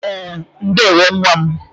E, ndewo nwa m